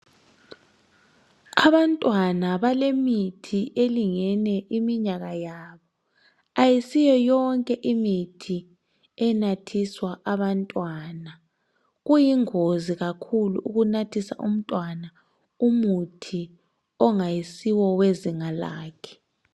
Abantwana balemithi elingene iminyaka yabo ayisiyo yonke imithi enathiswa abantwana kuyingozi kakhulu ukunathisa umntwana umuthi ongayisiwo wezinga lakhe